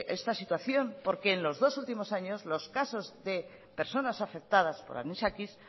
esta situación porque en los dos últimos años los casos de personas afectadas por anisakis